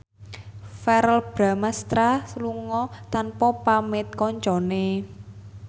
Verrell Bramastra lunga tanpa pamit kancane